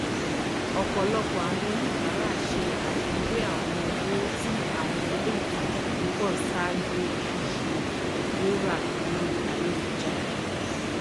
ọpọlọpọ àwọn oníbàrà ṣe afiwé àwọn owó ní àwọn iléìtajà púpọ ṣáájú ṣíṣe rírà lórí ayélujára